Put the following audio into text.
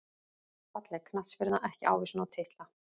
Falleg knattspyrna ekki ávísun á titla